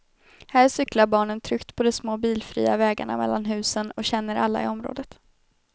Här cyklar barnen tryggt på de små bilfria vägarna mellan husen och känner alla i området.